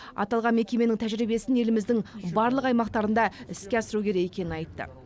аталған мекеменің тәжірибесін еліміздің барлық аймақтарында іске асыру керек екенін айтты